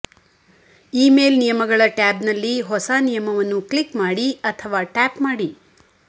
email ನಿಯಮಗಳ ಟ್ಯಾಬ್ನಲ್ಲಿ ಹೊಸ ನಿಯಮವನ್ನು ಕ್ಲಿಕ್ ಮಾಡಿ ಅಥವಾ ಟ್ಯಾಪ್ ಮಾಡಿ